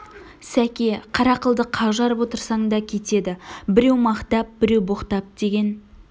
сәке қара қылды қақ жарып отырсаң да кетеді біреу мақтап біреу боқтап деген